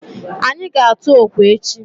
Anyị ga-atụ okwe echi.